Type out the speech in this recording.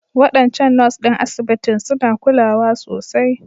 Waɗancan Nurse ɗin asibitin suna kulawa sosai